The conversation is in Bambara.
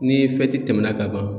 Ni tɛmɛna ka ban